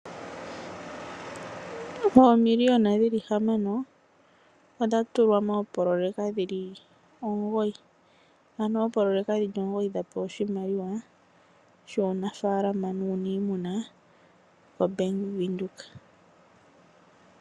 Oomiliyona hamano odha tulwa moopoloyeka dhi li omugoyi, ano oopoloyeka dhi li omugoyi dha pewa oshimaliwa shuunamapya nuuniimuna koBank Windhoek.